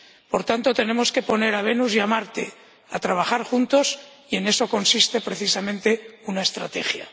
Por tanto, tenemos que poner a Venus y a Marte a trabajar juntos y en eso consiste precisamente una estrategia.